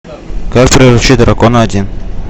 как приручить дракона один